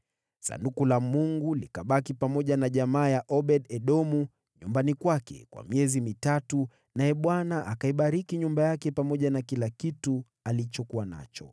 Sanduku la Mungu likabaki pamoja na jamaa ya Obed-Edomu, nyumbani kwake kwa miezi mitatu, naye Bwana akaibariki nyumba yake pamoja na kila kitu alichokuwa nacho.